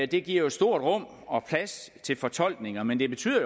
det giver jo et stort rum og plads til fortolkninger men det betyder